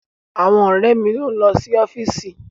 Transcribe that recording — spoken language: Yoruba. Àwọn ọ̀rẹ́ mi ló ń lọ sí ọ́fíìsì.